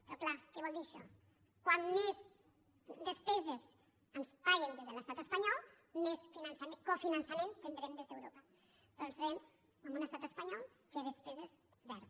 però clar què vol dir això com més despeses ens paguen des de l’estat espanyol més cofinançament tindrem des d’europa però ens trobem amb un estat espanyol que de despeses zero